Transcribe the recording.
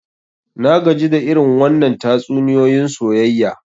Na gaji da irin wannann tatsuniyoyin soyayya.